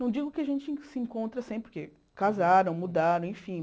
Não digo que a gente se encontra sempre, porque casaram, mudaram, enfim.